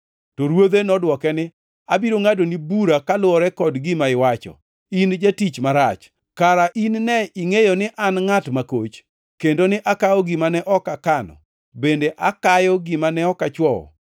“To Ruodhe nodwoke ni, ‘Abiro ngʼadoni bura koluwore kod gima iwacho, in jatich marach! Kara in ne ingʼeyo ni an ngʼat makoch, kendo ni akawo gima ne ok akano, bende akayo gima ne ok achwoyo!